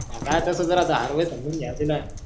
काय तसच राहत हरवेडेस समजून घ्यायचं ना.